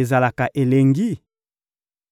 ezalaka elengi?